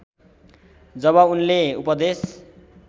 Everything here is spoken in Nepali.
जब उनले उपदेश